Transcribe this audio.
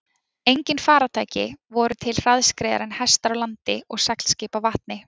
Engin farartæki voru til hraðskreiðari en hestar á landi og seglskip á vatni.